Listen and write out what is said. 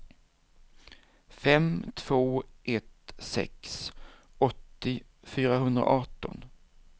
fem två ett sex åttio fyrahundraarton